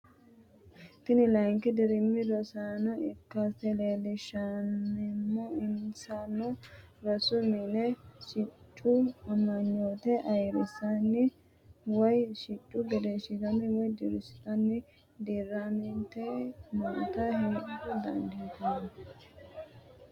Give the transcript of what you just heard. Tini layinki dirim rosaano ikkase leelishanmo insano rosu mine siccu amanyoote ayirise woyi sicco gidisiisate woyi dirisatte dirante nootta heda dandinanni